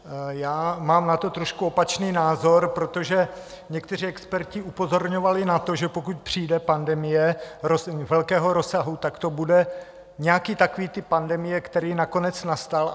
Já mám na to trošku opačný názor, protože někteří experti upozorňovali na to, že pokud přijde pandemie velkého rozsahu, tak to bude nějaký takový typ pandemie, který nakonec nastal.